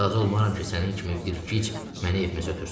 Razı olmaram ki, sənin kimi bir gic məni evimizə ötürsün.